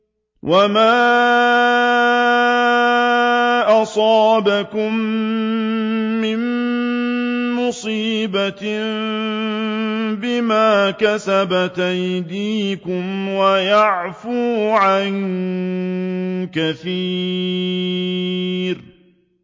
وَمَا أَصَابَكُم مِّن مُّصِيبَةٍ فَبِمَا كَسَبَتْ أَيْدِيكُمْ وَيَعْفُو عَن كَثِيرٍ